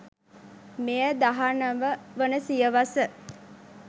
මෙය දහනව වන සියවස